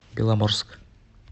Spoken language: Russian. беломорск